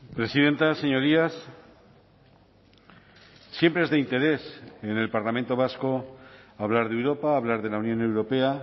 presidenta señorías siempre es de interés en el parlamento vasco hablar de europa hablar de la unión europea